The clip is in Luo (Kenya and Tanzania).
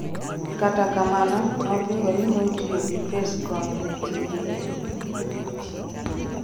Kata kamano nopingo ni notiyo gi pes kony ne tije en owuon